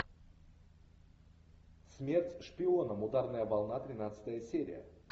смерть шпионам ударная волна тринадцатая серия